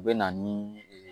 U bɛ na ni